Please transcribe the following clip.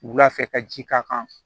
Wula fɛ ka ji k'a kan